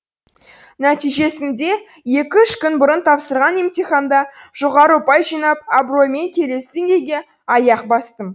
нәтижесінде екі үш күн бұрын тапсырған емтиханда жоғары ұпай жинап абыроймен келесі деңгейге аяқ бастым